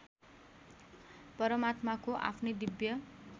परमात्माको आफ्नै दिव्य